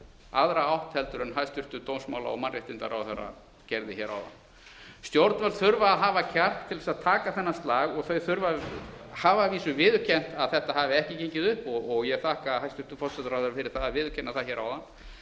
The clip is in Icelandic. aðra átt en hæstvirtur dómsmála og mannréttindaráðherra gerði hér áðan stjórnvöld þurfa að hafa kjark til þess að taka þennan slag þau hafa að vísu viðurkennt að þetta hafi ekki gengið upp og ég þakka hæstvirtum forsætisráðherra fyrir það að viðurkenna það hér áðan